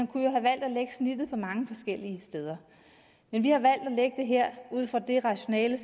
kunne have valgt at lægge snittet mange forskellige steder men vi har valgt at lægge her ud fra det rationale